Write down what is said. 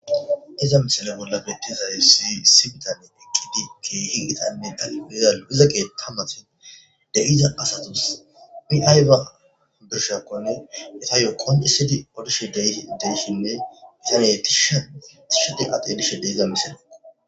Be7iza misile bolla beetizassi ; issi bitane eqqidi keehi gitanne dalggiza keeththan matan de7iza asatussi i aybba birshshiyakonne etayo qonccisidi odishshe de7ishinne tishayidi a xeelishe